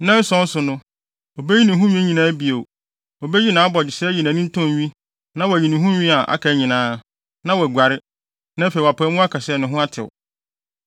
Nnanson no so no, obeyi ne ho nwi nyinaa bio, obeyi nʼabogyesɛ ayi nʼanintɔn nwi na wayi ne ho nwi a aka nyinaa, na waguare, na afei wɔapae mu aka sɛ ne ho atew.